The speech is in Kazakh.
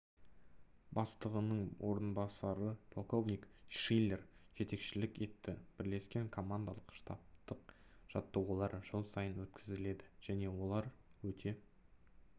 бастығының орынбасары полковник шиллер жетекшілік етті бірлескен командалық-штабтық жаттығулар жыл сайын өткізіледі және олар өте